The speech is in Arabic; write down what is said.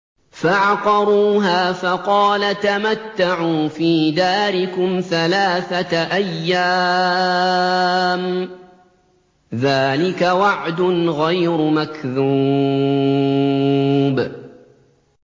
فَعَقَرُوهَا فَقَالَ تَمَتَّعُوا فِي دَارِكُمْ ثَلَاثَةَ أَيَّامٍ ۖ ذَٰلِكَ وَعْدٌ غَيْرُ مَكْذُوبٍ